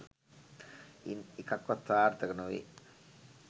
ඉන් එකක් වත් සාර්ථක නොවේ